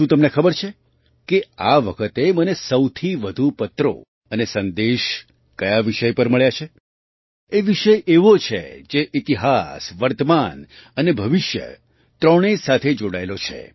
શું તમને ખબર છે કે આ વખતે મને સૌથી વધુ પત્રો અને સંદેશ કયા વિષય પર મળ્યા છે એ વિષય એવો છે જે ઇતિહાસ વર્તમાન અને ભવિષ્ય ત્રણેય સાથે જોડાયેલો છે